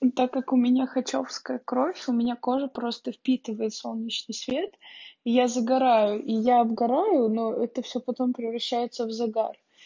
и так как у меня хачевская кровь у меня кожа просто впитываем солнечный свет и я загораю я сгораю но это всё потом превращается в загар